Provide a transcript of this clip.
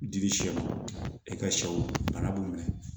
Dili sɛw i ka sɛw bana b'u minɛ